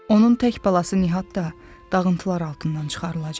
Onun tək balası Nihat da dağıntılar altından çıxarılacaq.